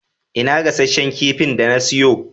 Ina gasasshen kifin da na siyo?